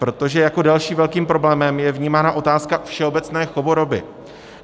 Protože jako dalším velkým problémem je vnímána otázka všeobecné choroby.